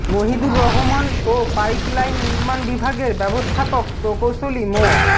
মহিদুর রহমান ও পাইপলাইন নির্মাণ বিভাগের ব্যবস্থাপক প্রকৌশলী মো